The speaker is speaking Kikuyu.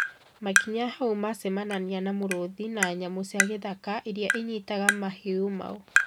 Makinya hau, macemanania na mĩrũthi na nyamũ cia gĩthaka irĩa inyitaga mahiũ mao